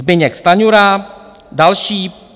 Zbyněk Stanjura - další.